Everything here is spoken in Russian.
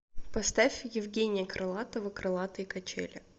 поставь евгения крылатова крылатые качели